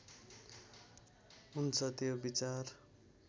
हुन्छ त्यो विचार